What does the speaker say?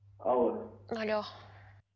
алло алло